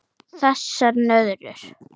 Þessar nöðrur!